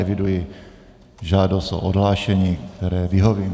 Eviduji žádost o odhlášení, které vyhovím.